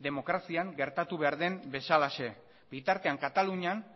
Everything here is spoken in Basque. demokrazian gertatu behar den bezalaxe bitartean katalunian